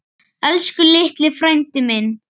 Elsku litli frændi minn.